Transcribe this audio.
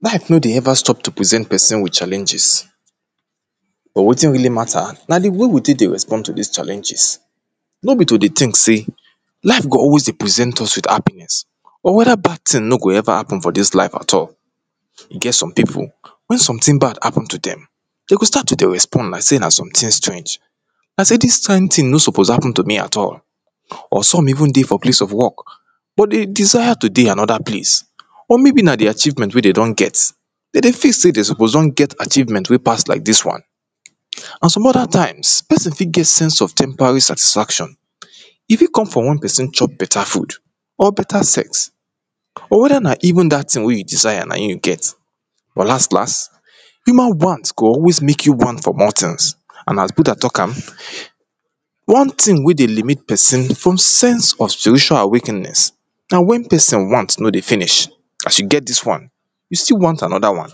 life no dey ever stop to present person with challenges but wetin really mata na di wey we take dey respond to dis challenges no be to dey think sey life go always dey present us with happiness or weda bad thing no go ever hapen for dis life at all e get some pipu wen sometin bad hapen to dem de go start to dey respond like sey na some tin strang like say dis kind thing no suppose hapen to me at all or some even dey for place of work but de desire to dey anoda place or maybe na di achievement wen de don get de dey feel sey de suppose don get achievment wey pass like dis one or some other times, pesin fit get sense of temporary satisfaction e fit come from wen pesin chop beta food or betra sex, or weda na even dat thing wey you desire na e you get well las las, human want go always make you want for more things and as buda talk am, one thing wey dey limit pesin from sense of spiritual awakeness, na wen pesin want no dey finish as you get dis wan, you still want anoda wan